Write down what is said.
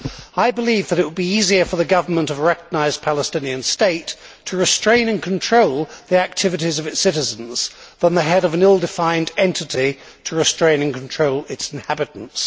I believe that it would be easier for the government of a recognised Palestinian state to restrain and control the activities of its citizens than for the head of an ill defined entity to restrain and control its inhabitants.